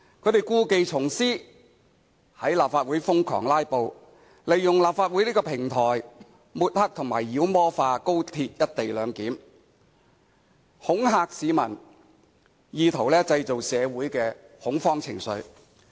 他們故技重施，在立法會瘋狂"拉布"，利用立法會這個平台抹黑及妖魔化高鐵"一地兩檢"，恐嚇市民，以圖製造社會的恐慌情緒。